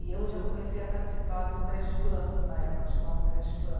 E eu já comecei a participar do creche plan, na época chamava creche plan.